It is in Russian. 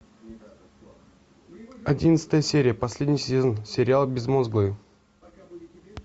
одиннадцатая серия последний сезон сериал безмозглые